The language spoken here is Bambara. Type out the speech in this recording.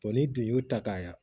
n'i dun y'u ta k'a ɲa